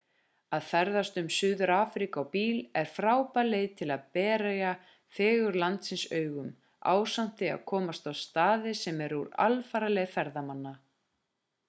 að ferðast um suður-afríku á bíl er frábær leið til að berja fegurð landsins augum ásamt því að komast á staði sem eru úr alfaraleið ferðamanna